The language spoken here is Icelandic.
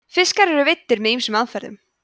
fiskar eru veiddir með ýmsum aðferðum